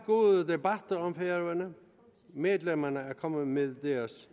er om færøerne medlemmerne er kommet med deres